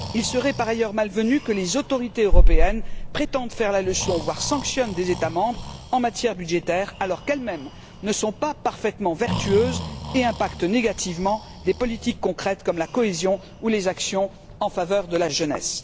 Il serait par ailleurs malvenu que les autorités européennes prétendent faire la leçon, voire sanctionnent des États membres en matière budgétaire, alors qu'elles mêmes ne sont pas parfaitement vertueuses et influent négativement sur les politiques concrètes comme la cohésion ou les actions en faveur de la jeunesse.